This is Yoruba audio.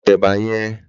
Lò tè èbà yèn